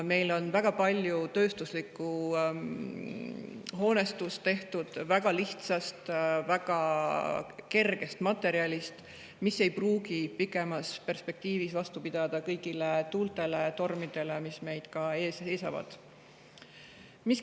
Meil on väga palju tööstuslikku hoonestust tehtud väga lihtsast, väga kergest materjalist, mis ei pruugi pikemas perspektiivis vastu pidada kõigile tuultele ja tormidele, mis meil ees seisavad.